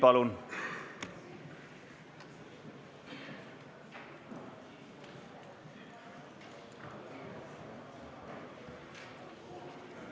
Palun!